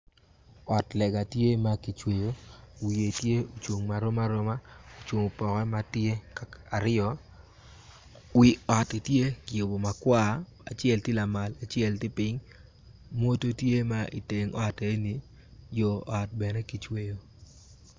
Ot lega tye ma kicweyo wiye tye ocung marom aroma ocung opoke ma tye aryo wi otti tye ki yubu makwar acel tye lamal acel tye lapiny mwoto tye ma iteng ot eni yo ot bene kicweyo